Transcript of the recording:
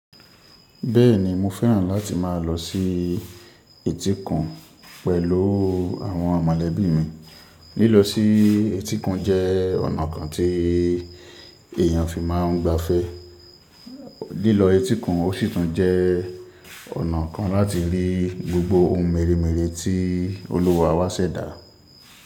Bẹ́ẹ̀ni, mo fẹ́ràn láti má a lọ sí etíkun pẹ̀lú àwọn mọ̀lẹ́bí mi. Lílọ sí etíkun jẹ́ ọ̀nà kan tí èeyàn fi máa ń gbafẹ́. Lílọ etíkun ó sì tún jẹ́ ọ̀nà kan láti rí gbogbo ohun mèremère tí olúwa wá ṣẹ̀dá.